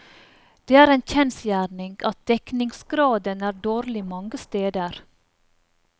Det er en kjensgjerning at dekningsgraden er dårlig mange steder.